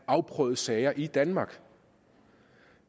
afprøvet sager i danmark